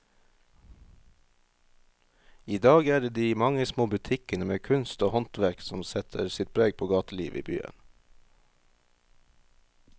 I dag er det de mange små butikkene med kunst og håndverk som setter sitt preg på gatelivet i byen.